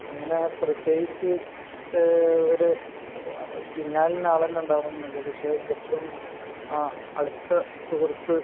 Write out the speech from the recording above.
അങ്ങനെ ഒരു പ്രത്യേകിച്ച് ഇന്ന ആളുണ്ടാവണമെന്നില്ല പക്ഷെ ഏറ്റവും അടുത്ത സുഹൃത്ത്